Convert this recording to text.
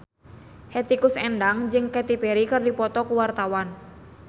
Hetty Koes Endang jeung Katy Perry keur dipoto ku wartawan